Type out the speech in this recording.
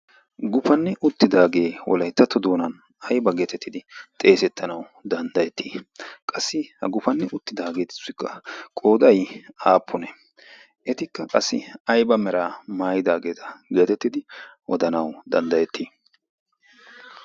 gufanni uttidaagee wolayttatto doonan ayba geetettidi xeesettanawu danddayettii qassi ha gufanni uttidaageetussikka qooday aappune etikka qassi ayba meraa maayidaageeta geetettidi odanawu danddayettii